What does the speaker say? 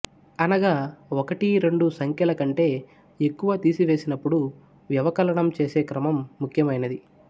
అనగా ఒకటి రెండు సంఖ్యల కంటే ఎక్కువ తీసివేసినప్పుడు వ్యవకలనం చేసే క్రమం ముఖ్యమైనది